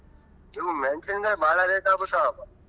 ಇವು ಮೆಣಸಿನ್ಕಾಯಿ ಬಾಳ rate ಆಗಬಿಟ್ಟಾವಪಾ.